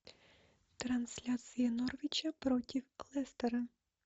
трансляция норвича против лестера